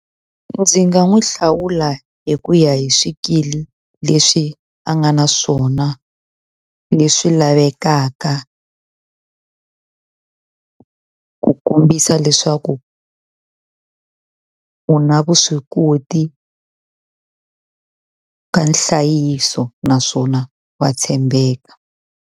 Ndzi nga n'wi hlawula hi ku ya hi swikili leswi a nga na swona leswi lavekaka ku kombisa leswaku u na vuswikoti ka nhlayiso naswona wa tshembeka.